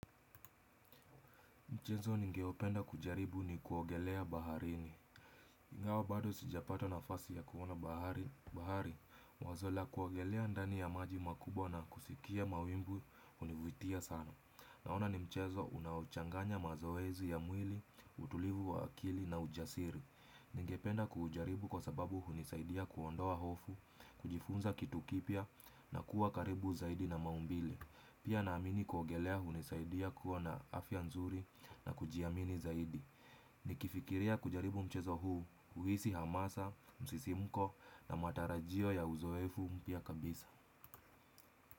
Mchezo ningeupenda kujaribu ni kuogelea baharini. Ingawa bado sijapata na fasi ya kuona bahari. Wazola kuogelea ndani ya maji makubwa na kusikia mawimbu univutia sana. Naona ni mchezo unaochanganya mazoezi ya mwili, utulivu wa akili na ujasiri. Ningependa kuujaribu kwa sababu hunisaidia kuondoa hofu, kujifunza kitu kipya na kuwa karibu zaidi na maumbili. Pia naamini kuogelea hunisaidia kuwa na afya nzuri na kujiamini zaidi. Nikifikiria kujaribu mchezo huu, huisi hamasa, msisimko na matarajio ya uzoefu mpya kabisa.